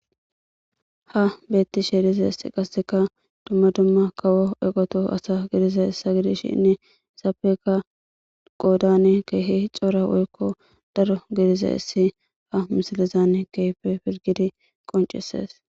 ha beettishe dizayssi qasseka dumma dumma kawo eqoto asa gidizayssa gidishinne zapeka qoodane keehi cora woykko daro gidizay issi ha misilizane keyfe pirgidi qoncises